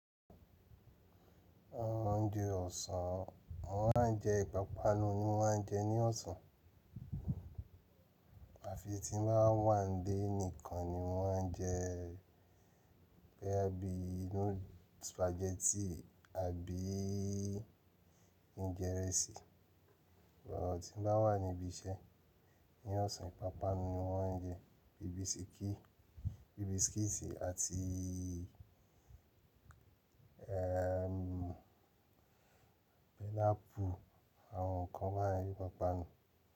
Oúnjẹ ọ̀sán mo maa n jẹ ìpápánu ni máa ń jẹ ní ọ̀sán, àfi tí ń bá wà nílé nìkan ni máa ń jẹ boya bí inú spaghetti àbí í í í njẹ́rẹ́sì. Ọ̀rọ̀ tí ń bá wà níbi iṣẹ́ ní ọ̀sán. Ìpápánu ni won ń jẹ bíbískéè, bíbískéèsì àti í í í ẹm pẹnápù, àwọn nǹkan bayen ni ìpápánu.